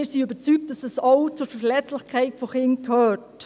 Wir sind überzeugt, dass dies auch zur Verletzlichkeit von Kindern gehört.